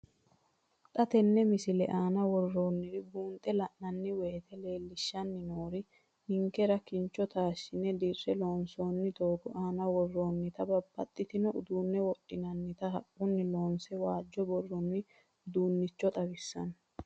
Xa tenne missile aana worroonniri buunxe la'nanni woyiite leellishshanni noori ninkera kincho taashshine dirre loonsoonni doogo aana worroonnita babbaxxino uduunni wodhinannita haqqunni loonse waajjo buurroonni uduunnicho xawissanno.